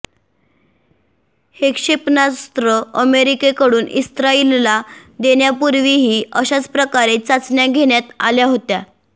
हे क्षेपणास्त्र अमेरिकेकडून इस्राईलला देण्यापूर्वीही अशाचप्रकारे चाचण्या घेण्यात आल्या होत्या